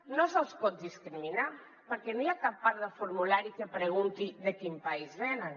no se’ls pot discriminar perquè no hi ha cap part del formulari que pregunti de quin país venen